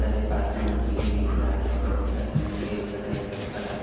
पास में मछली दिख रहा है बहुत सारे मछली एक छोटा छोटा बड़ा ब--